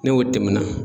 N'o tɛmɛna